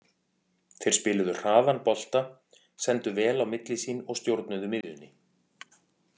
Þeir spiluðu hraðan bolta, sendu vel á milli sín og stjórnuðu miðjunni.